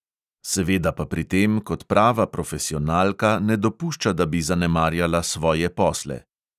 Seveda pa pri tem kot prava profesionalka ne dopušča, da bi zanemarjala svoje posle.